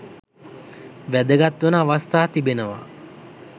වැදගත් වන අවස්ථා තිබෙනවා.